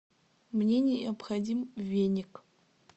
мне необходим веник